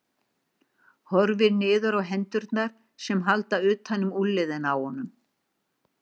Horfir niður á hendurnar sem halda utan um úlnliðina á honum.